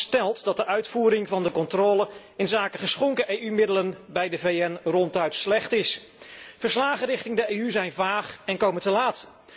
Het verslag stelt dat de uitvoering van de controle op geschonken EU middelen bij de VN ronduit slecht is. Verslagen richting de EU zijn vaag en komen te laat.